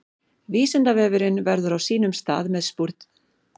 Vísindavefurinn verður á sínum stað með spurningakeppni, þrautir og gátur.